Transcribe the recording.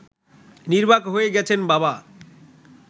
নির্বাক হয়ে গেছেন বাবা